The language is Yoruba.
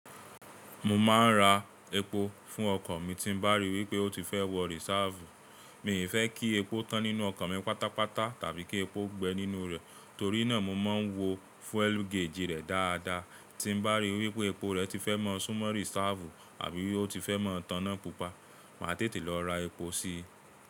Mo máa ń ra epo fún ọkọ̀ mi tí ń bá rí i wí pé ó ti fẹ́ wọ rìsáàfù. Mi ò fẹ́ kí epo tán nínú ọkọ̀ mi pátápátá tàbí kí epo gbẹ nínú rẹ̀, torí náà mo máa ń wo fúélù geèjì rẹ̀ dáadáa. Tí ń bá rí i wí pé epo rẹ̀ ti fẹ́ mọ́ súnmọ́ rìsáàfù àbí wí pé ó ti fẹ́ mọ́ tán náà pupa, màá tètè lọ ra epo síi.